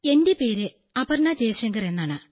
എന്റെ പേര് അപർണ ജയശങ്കർ എന്നാണ്